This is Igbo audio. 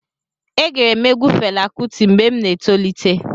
E gere m egwu Fela Kuti mgbe m na-etolite.